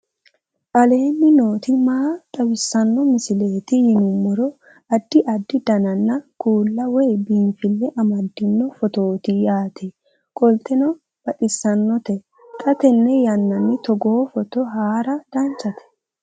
aleenni nooti maa xawisanno misileeti yinummoro addi addi dananna kuula woy biinfille amaddino footooti yaate qoltenno baxissannote xa tenne yannanni togoo footo haara danchate